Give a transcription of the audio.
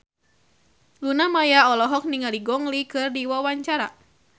Luna Maya olohok ningali Gong Li keur diwawancara